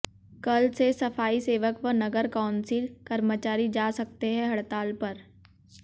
कल से सफाई सेवक व नगर कौंसिल कर्मचारी जा सकते हैं हड़ताल पर